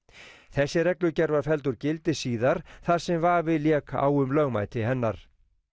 þessi reglugerð var felld úr gildi síðar þar sem vafi lék á um lögmæti hennar